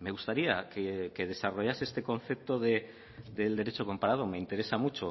me gustaría que desarrollase este concepto del derecho comparado me interesa mucho